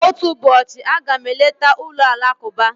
Otu ụbọchị, a ga m eleta ụlọ alakụba.